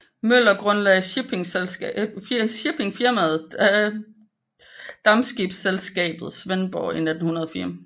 Møller grundlagde shippingfirmaet Dampskibsselskabet Svendborg i 1904